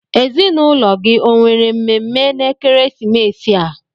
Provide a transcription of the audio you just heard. Ezinụlọ gị o nwere mmemme na-ekesimeesi a?